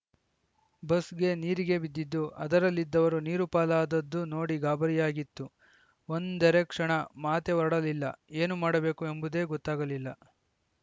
ಬಸ್‌ಗೆ ನೀರಿಗೆ ಬಿದ್ದಿದ್ದು ಅದರಲ್ಲಿದ್ದವರು ನೀರುಪಾಲಾದದ್ದು ನೋಡಿ ಗಾಬರಿಯಾಗಿತ್ತು ಒಂದರೆಕ್ಷಣ ಮಾತೇ ಹೊರಡಲಿಲ್ಲ ಏನು ಮಾಡಬೇಕು ಎಂಬುದೇ ಗೊತ್ತಾಗಲಿಲ್ಲ